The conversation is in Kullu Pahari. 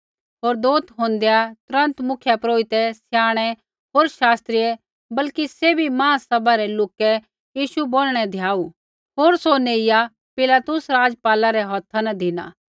होर दोथ होंदैआ तुरन्त मुख्यपुरोहिते स्याणै होर शास्त्रियै बल्कि सैभी महासभा रै लोकै यीशु बोनणै धियाऊ होर सौ नेइया पिलातुस राज़पाला रै हौथा न धिना